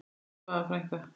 Elsku Svava frænka.